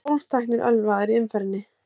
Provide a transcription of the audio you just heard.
Tólf teknir ölvaðir í umferðinni